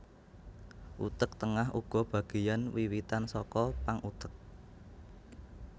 Utek tengah uga bageyan wiwitan saka pang utek